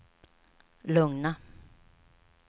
lugna